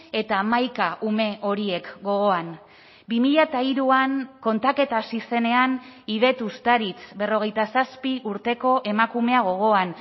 eta hamaika ume horiek gogoan bi mila hiruan kontaketa hasi zenean idet uztaritz berrogeita zazpi urteko emakumea gogoan